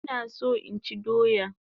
Ina so inchi doya